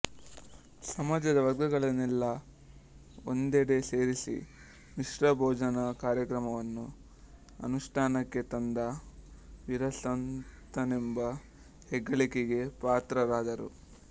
ಸಮಾಜದ ವರ್ಗಗಳನ್ನೆಲ್ಲಾ ಒಂದೆಡೆ ಸೇರಿಸಿ ಮಿಶ್ರ ಭೋಜನ ಕಾರ್ಯಕ್ರಮವನ್ನು ಅನುಷ್ಠಾನಕ್ಕೆ ತಂದ ವೀರಸಂತನೆಂಬ ಹೆಗ್ಗಳಿಕೆಗೆ ಪಾತ್ರರಾದರು